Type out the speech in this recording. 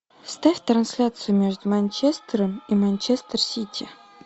ставь трансляцию между манчестером и манчестер сити